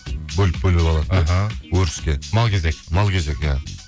бөліп бөліп алады іхі өріске мал кезек мал кезек иә